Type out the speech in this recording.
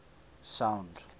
sound